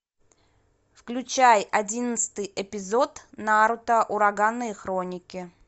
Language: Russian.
включай одиннадцатый эпизод наруто ураганные хроники